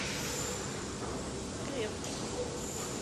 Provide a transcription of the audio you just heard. скрепка